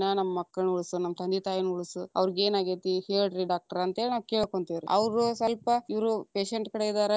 ನಮ್ಮ ಮಕ್ಕಳನ ಉಳಸ, ನಮ್ಮ ತಂದೆ ತಾಯಿನ್ನ ಉಳಸು, ಅವ್ರೀಗ ಏನಾಗೇತಿ ಹೇಳರೀ doctor ಅಂತ್ಹೇಳಿ ನಾವ್‌ ಕೇಳ್ಕೊಂತೀವ್ರಿ. ಅವ್ರು ಸ್ವಲ್ಪ ಇವರು patient ಕಡೆ ಇದಾರ.